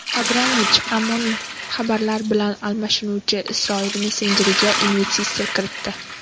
Abramovich anonim xabarlar bilan almashuvchi Isroil messenjeriga investitsiya kiritdi.